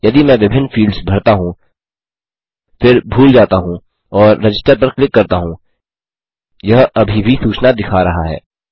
यदि मैं विभिन्न फील्ड्स भरता हूँ फिर भूल जाता हूँ और रजिस्टर पर क्लिक करता हूँ यह अभी भी सूचना दिखा रहा है